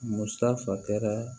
Musakɛra